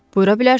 Buyura bilərsiz.